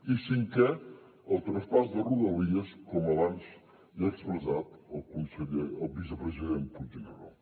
i cinquè el traspàs de rodalies com abans ja ha expressat el vicepresident puigneró